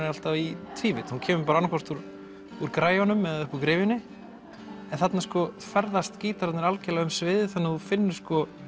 alltaf í tvívídd hún kemur annaðhvort úr úr græjunum eða gryfjunni en þarna ferðast gítararnir algjörlega um sviðið þannig að þú finnur